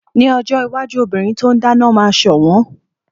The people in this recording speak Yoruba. Ní ojó iwájú obìnrin tí o n dáná máa sọ̀wọ́n